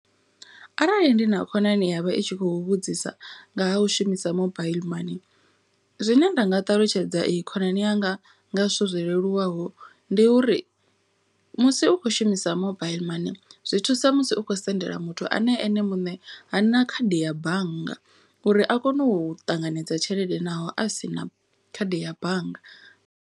Arali ndi na khonani yavha i tshi khou vhudzisa nga ha u shumisa mobaiḽi mani. Zwine nda nga ṱalutshedza iyi khonani yanga nga zwithu zwo leluwaho ndi uri musi u khou shumisa mobaiḽi mani. Zwi thusa musi u khou sendela muthu ane ene muṋe ha na khadi ya bannga. Uri a kone u ṱanganedza tshelede naho a sina khadi ya bannga.